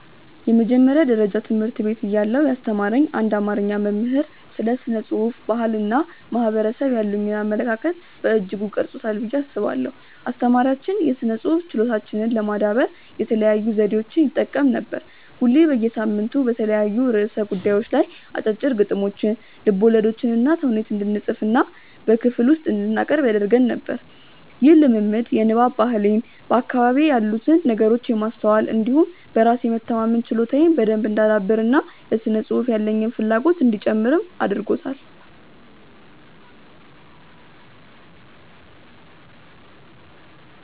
የመጀመሪያ ደረጃ ትምህርት ቤት እያለሁ ያስተማረኝ አንድ አማርኛ መምህር ስለ ስነ ጽሁፍ፣ ባህል እና ማህበረሰብ ያሉኝን አመለካከት በእጅጉ ቀርጾታል ብዬ አስባለሁ። አስተማሪያችን የስነ ጽሁፍ ችሎታችንን ለማዳበር የተለያዩ ዘዴዎችን ይጠቀም ነበር። ሁሌ በየሳምንቱ በተለያዩ ርዕሰ ጉዳዮች ላይ አጫጭር ግጥሞችን፣ ልቦለዶችንና ተውኔት እንድንፅፍና በክፍል ውስጥ እንድናቀርብ ያደርግ ነበር። ይህ ልምምድ የንባብ ባህሌን፣ በአካባቢዬ ያሉትን ነገሮች የማስተዋል እንዲሁም በራስ የመተማመን ችሎታዬን በደንብ እንዳዳብር እና ለስነ ጽሁፍ ያለኝን ፍላጎትም እንዲጨምር አድርጓል።